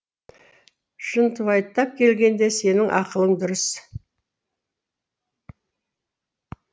шынтуайттап келгенде сенің ақылың дұрыс